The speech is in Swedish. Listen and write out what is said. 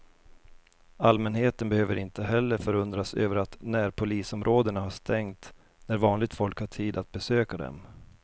Allmänheten behöver inte heller förundras över att närpolisområdena har stängt när vanligt folk har tid att besöka dem.